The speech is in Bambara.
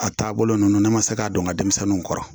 A taabolo ninnu ne ma se k'a dɔn n ka denmisɛnninw kɔrɔ